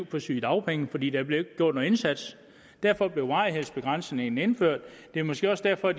på sygedagpenge fordi der ikke blev gjort en indsats derfor blev varighedsbegrænsningen indført det er måske også derfor